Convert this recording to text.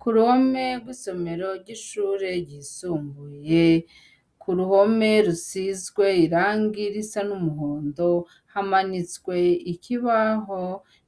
k'uruhome rw'isomero ry'ishure ryisumbuye, k'uruhome rusizwe irangi risa n'umuhondo, hamanitswe ikibaho